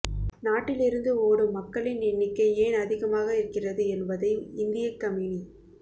நாட்டிலிருந்து ஓடும் மக்களின் எண்ணிக்கை ஏன் அதிகமாக இருக்கிறது என்பதை இந்திய கம்யூனி